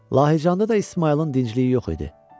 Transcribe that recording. Lahıcanda da İsmayılın dincəliyi yox idi.